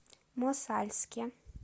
мосальске